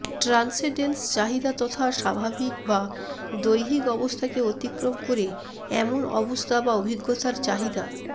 transcendence চাহিদা তথা স্বাভাবিক বা দৈহিক অবস্থাকে অতিক্রম করে এমন অবস্থা বা অভিজ্ঞতার চাহিদা